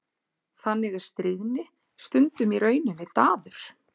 Þannig er stríðni stundum í rauninni daður.